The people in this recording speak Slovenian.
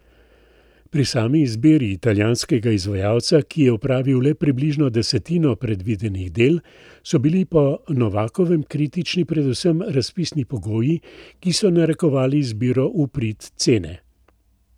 Pri sami izbiri italijanskega izvajalca, ki je opravil le približno desetino predvidenih del, so bili po Novakovem kritični predvsem razpisni pogoji, ki so narekovali izbiro v prid cene.